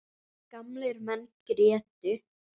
Gamlir menn grétu.